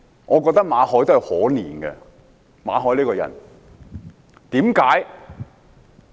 我覺得馬凱這個人可憐，為甚麼？